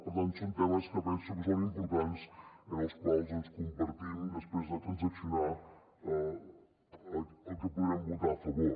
per tant són temes que penso que són importants i en els quals compartim després de transaccionar el que podrem votar a favor